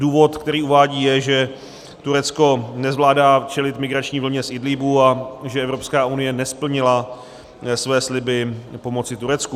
Důvod, který uvádí, je, že Turecko nezvládá čelit migrační vlně z Idlíbu a že Evropská unie nesplnila své sliby pomoci Turecku.